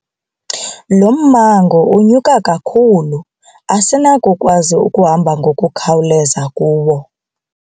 Lo mmango unyuka kakhulu asinakukwazi ukuhamba ngokukhawuleza kuwo.